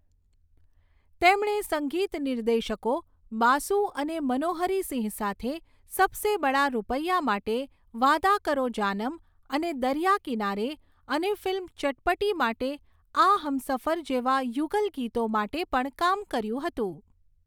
તેમણે સંગીત નિર્દેશકો બાસુ અને મનોહરી સિંહ સાથે સબસે બડા રૂપૈયા માટે વાદા કરો જાનમ અને દરિયા કિનારે અને ફિલ્મ ચટપટી માટે આ હમસફર જેવા યુગલગીતો માટે પણ કામ કર્યું હતું.